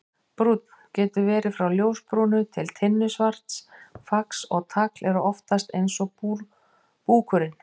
Brúnn: Getur verið frá ljósbrúnu til tinnusvarts, fax og tagl eru oftast eins og búkurinn.